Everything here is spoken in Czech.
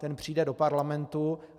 Ten přijde do parlamentu.